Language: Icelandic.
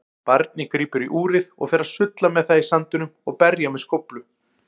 Barnið grípur úrið og fer að sulla með það í sandinum og berja með skóflu.